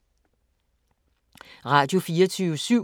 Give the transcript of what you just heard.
Radio24syv